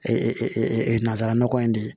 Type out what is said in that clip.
nanzararaɔgɔ in de ye